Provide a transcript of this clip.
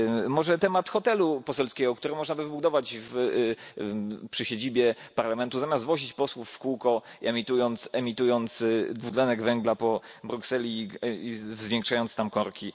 Może temat hotelu poselskiego, który można by wybudować przy siedzibie Parlamentu, zamiast wozić posłów w kółko, emitując dwutlenek węgla po Brukseli i zwiększając tam korki